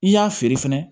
I y'a feere fɛnɛ